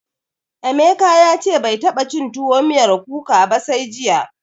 Emeka ya ce bai taɓa cin tuwo miyar kuka ba sai jiya.